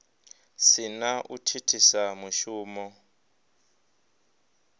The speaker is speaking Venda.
si na u thithisa mushumo